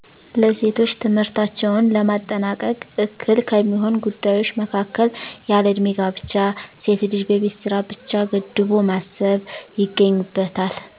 ለሴቶች ትምህርታቸውን ለማጠናቀቅ እከል ከሚሆን ጉዳዮች መካከል፣ ያለ ዕድሜ ጋብቻ፣ ሴትን ልጅ በቤት ስራ ብቻ ገድቦ ማሰብ ይገኙበታል።